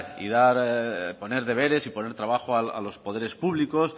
y dar poner deberes y poner trabajo a los poderes públicos